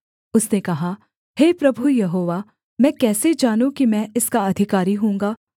उसने कहा हे प्रभु यहोवा मैं कैसे जानूँ कि मैं इसका अधिकारी होऊँगा